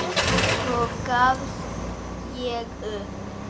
Svo gafst ég upp.